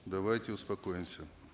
давайте успокоимся